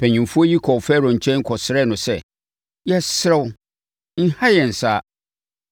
Mpanimfoɔ yi kɔɔ Farao nkyɛn kɔsrɛɛ no sɛ, “Yɛsrɛ wo, nha yɛn saa,